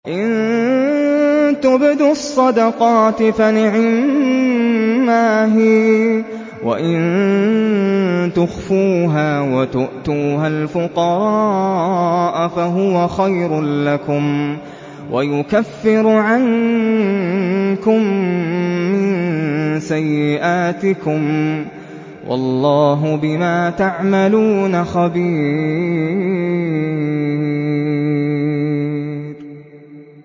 إِن تُبْدُوا الصَّدَقَاتِ فَنِعِمَّا هِيَ ۖ وَإِن تُخْفُوهَا وَتُؤْتُوهَا الْفُقَرَاءَ فَهُوَ خَيْرٌ لَّكُمْ ۚ وَيُكَفِّرُ عَنكُم مِّن سَيِّئَاتِكُمْ ۗ وَاللَّهُ بِمَا تَعْمَلُونَ خَبِيرٌ